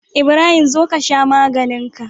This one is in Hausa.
Ibrahim zo kasha maganinka